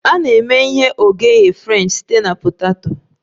A na-eme ihe oghighe french site na poteto